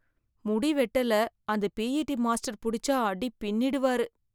முடி வெட்டல அந்த பிஇடி மாஸ்டர் புடிச்சா அடி பின்னிடுவாரு.